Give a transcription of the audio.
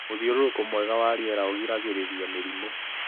Mũthiũrũrũko mwega wa rĩera ũgiragĩrĩria mĩrimũ.